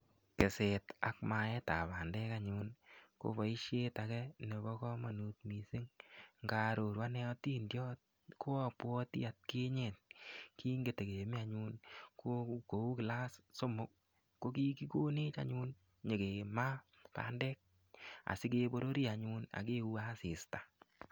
Keset ak maet ab pandek anyun ko boisiet age nepo komanut mising nga aroru ane otindiot ko apuati atkinye kingitikemi anyun kou class somok ko kigikonech anyun nyikemaa pandek asigeporori anyun akeuwe asista.